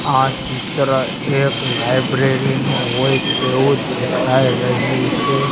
આ ચિત્ર એક લાઇબ્રેરી નું હોય તેવું દેખાય રહ્યું છે.